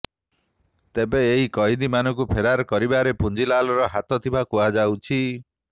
ତେବେ ଏହି କଏଦୀମାନଙ୍କୁ ଫେରାର କରିବାରେ ପୁଞ୍ଜିଲାଲର ହାତ ଥିବା କୁହାଯାଉଛି